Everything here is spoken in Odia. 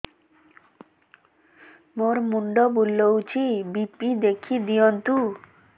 ମୋର ମୁଣ୍ଡ ବୁଲେଛି ବି.ପି ଦେଖି ଦିଅନ୍ତୁ